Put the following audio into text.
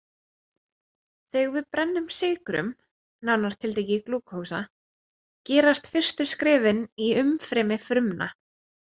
Þegar við brennum sykrum, nánar til tekið glúkósa, gerast fyrstu skrefin í umfrymi frumna.